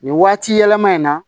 Nin waati yɛlɛma in na